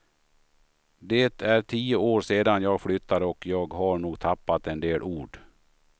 Det är tio år sedan jag flyttade och jag har nog tappat en del ord.